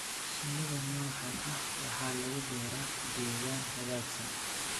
Shinnida noocaan ah waxaa lagu beeraa deegaan hagaagsan